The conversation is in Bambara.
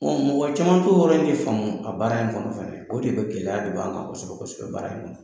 Bon mɔgɔ caman to wɔɔrɔ in de faamu a baara in kɔnɔ fɛnɛ ye o de bɛ gɛlɛya de' kan kosɛbɛ kosɛbɛ baara in kɔnɔ.